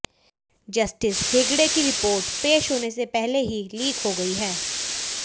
justice Hegde की report पेश होने से पहले ही लीक हो गई है